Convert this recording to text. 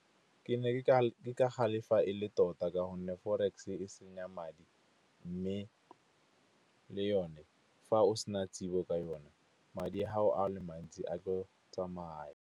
Ke ne ke ka galefa e le tota ka gonne forex e senya madi, mme le yone fa o sena tsebo ka yone, madi a gago a le mantsi a tlo tsamaya.